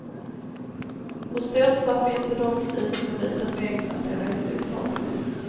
Hos dessa finns de dock i så liten mängd att de är helt ofarliga.